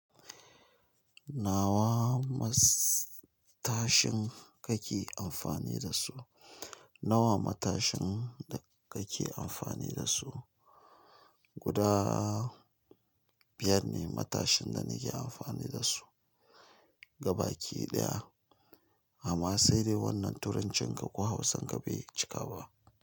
Nawa matashin kake amfani da su? Nawa matashin da kake amfani da su? Guda biyar ne matashin da nake amfani da su. Ga baki ɗaya. Amma sai dai wannan turancinka kuwa hausanka bai cika ba.